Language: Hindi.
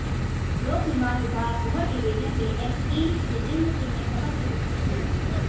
लोक निर्माण विभाग गोहर डिविजन के एक्सईन जितेंद्र सिंह नें खबर की पुष्टि की है